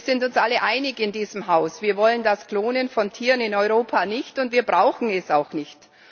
Wir sind uns alle einig in diesem Haus Wir wollen das Klonen von Tieren in Europa nicht, und wir brauchen es auch nicht.